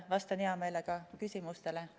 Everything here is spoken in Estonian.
Vastan hea meelega küsimustele.